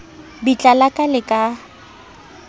bitla la ka le ka